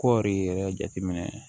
Kɔɔri yɛrɛ jateminɛ